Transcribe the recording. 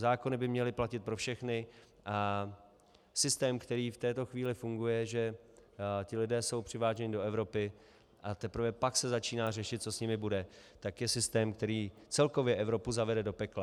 Zákony by měly platit pro všechny a systém, který v této chvíli funguje, že ti lidé jsou přiváženi do Evropy, a teprve pak se začíná řešit, co s nimi bude, tak je systém, který celkově Evropu zavede do pekla.